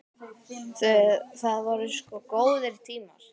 Það voru sko góðir tímar.